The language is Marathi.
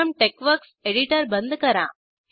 प्रथम टेक्सवर्क्स एडीटर बंद करा